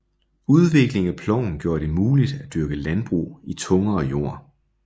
Udvikling af ploven gjorde det muligt at dyrke landbrug i tungere jord